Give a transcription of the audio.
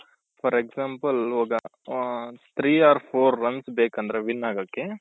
for example ಈಗ three or four runs ಬೇಕಂದ್ರೆ win ಆಗಕ್ಕೆ